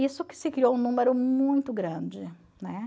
Isso que se criou um número muito grande, né?